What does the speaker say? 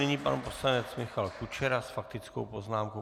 Nyní pan poslanec Michal Kučera s faktickou poznámkou.